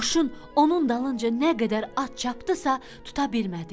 Qoşun onun dalınca nə qədər at çapdısa, tuta bilmədi.